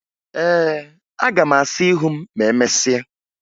Ee, aga m asa ihu m ma emesịa